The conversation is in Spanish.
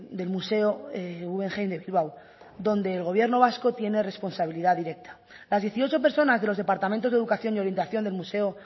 del museo guggenheim de bilbao donde el gobierno vasco tiene responsabilidad directa las dieciocho personas de los departamentos de educación y orientación del museo